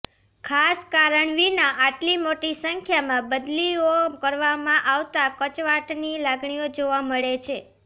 ખાસ કારણ વિના આટલી મોટી સંખ્યામાં બદલીઓ કરવામાં આવતા કચવાટની લાગણી જોવા મળે છે